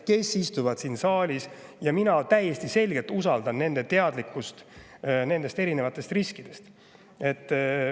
Mina täiesti selgelt usaldan Eesti noori selles küsimuses ja nende teadlikkust erinevatest riskidest.